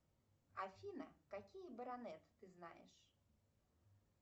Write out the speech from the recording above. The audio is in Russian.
афина какие баронет ты знаешь